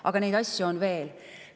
Aga neid asju on veel.